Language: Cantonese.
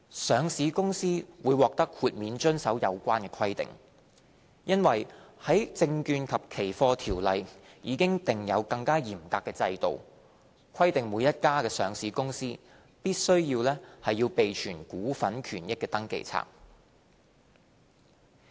上市公司會獲豁免遵守有關規定，因為《證券及期貨條例》已訂有更嚴格的制度，規定每家上市公司須備存股份權益登記冊。